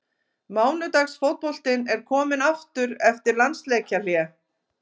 Mánudags fótboltinn er kominn aftur eftir landsleikjahlé.